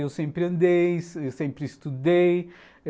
Eu sempre andei, eu sempre estudei.